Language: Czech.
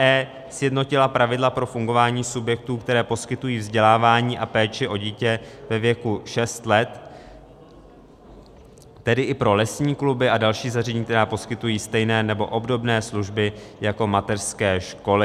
e) sjednotila pravidla pro fungování subjektů, které poskytují vzdělávání a péči o dítě ve věku šest let, tedy i pro lesní kluby a další zařízení, která poskytují stejné nebo obdobné služby jako mateřské školy.